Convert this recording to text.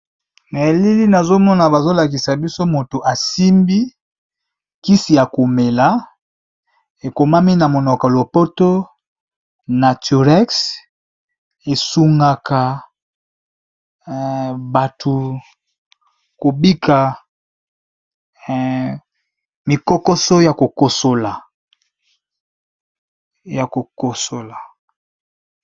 Na nazomona, ezali bongo kisi ya komela oyo babengi naturex, esungaka batu oyo bazobela kosukosu